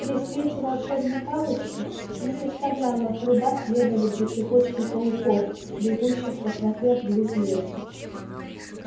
при свете волшебной палочки не составляло труда следовать за цепочкой пауков бегущих по тропе в глубь леса